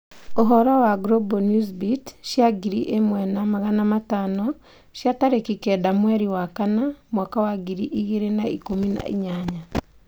Ũhoro wa Global Newsbeat cia ngiri ĩmwe na magana matano cia tarĩki kenda mweri wa kana mwaka wa ngiri igĩrĩ na ikũmi na inyanya.